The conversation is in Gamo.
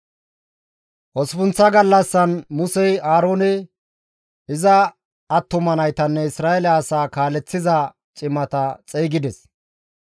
Osppunththa gallassan Musey Aaroone, iza attuma naytanne Isra7eele asaa kaaleththiza cimata xeygides;